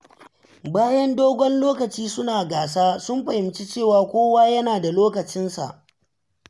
Bayan dogon lokaci suna gasa, sun fahimci cewa kowa yana da lokacinsa.